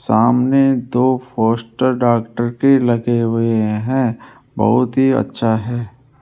सामने दो poster doctor के लगे हुए हैं बहोत ही अच्छा है।